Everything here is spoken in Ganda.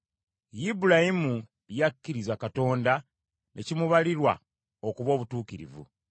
Ibulayimu yakkiriza Katonda ne kimubalirwa okuba obutuukirivu.